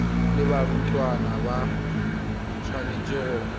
le barutwana ba tshwanetse go